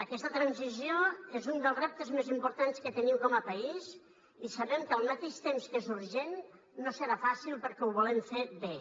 aquesta transició és un dels reptes més importants que tenim com a país i sabem que al mateix temps que és urgent no serà fàcil perquè ho volem fer bé